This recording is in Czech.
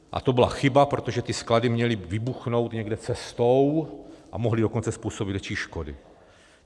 A to byla chyba, protože ty sklady měly vybuchnout někde cestou a mohly dokonce způsobit větší škody.